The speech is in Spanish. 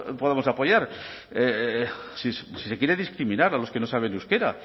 podamos apoyar si se quiere discriminar a los que no saben euskera